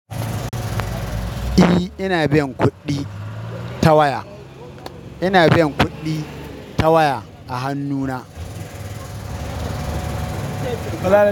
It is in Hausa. E, ina biyan kuɗi ta waya. Ina biyan kuɗi ta waya a hannuna.